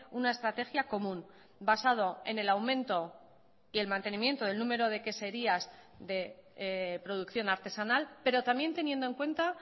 una estrategia común basado en el aumento y el mantenimiento del número de queserías de producción artesanal pero también teniendo en cuenta